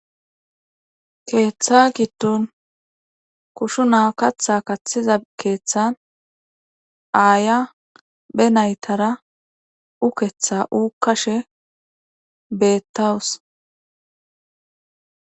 keeththa giddun kushu na katha kathiza keeththan aaya be naytara uketha uukkashe beettawus